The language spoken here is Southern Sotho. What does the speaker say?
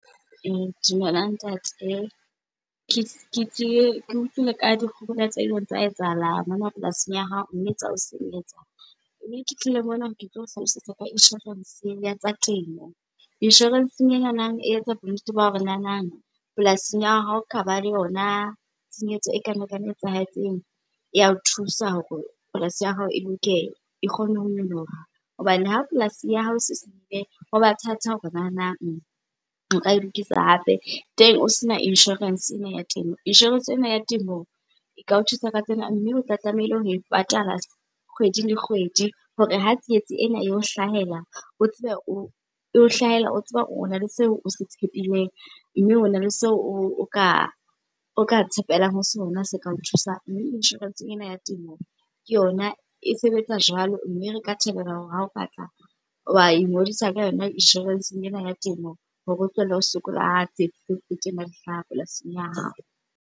Dumelang ntate. Ke utlwile ka dikgohola tse ileng tsa etsahala mona polasing ya hao, mme tsa o senyetsa. Mme ke tlile mona tlo o hlalosetsa ka inshorense ya tsa temo. Inshorenseng enana e etsa bonnete ba hore nanang, polasing ya hao, haoka ba le yona tshenyetso ekana kana e etsahetseng ya o thusa hore polasi ya hao e loke, e kgone ho nyoloha. Hobane ha polasi ya hao se senyehile, hoba thata hore nanang nka e lokisa hape, teng o sena inshorense ena ya temo. Inshorense ena ya temo e ka o thusa ka tsena, mme o tla tlameile ho e patala kgwedi le kgwedi hore ha tsietsi ena eo hlahela o tsebe o, e o hlahela o tseba ona le seo o se tshepileng, mme hona le seo o ka tshepelang ho sona se kao thusang. Mme inshorense ena ya temo ke yona, e sebetsa jwalo mme re ka thabela hore ha o ka tla wa ingodisa ka yona inshorenseng ena ya temo hore o tlohelle ho sokola di hlaha polasing ya hao.